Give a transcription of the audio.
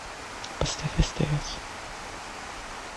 поставь стс